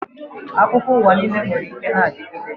Akụkọ uwa nwere ike na-adigide.